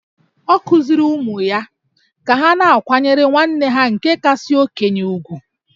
Ọ kụziiri ụmụ ya ka ha na-akwanyere nwanne ha nke kasị okenye ùgwù